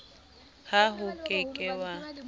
ha o ke ke wa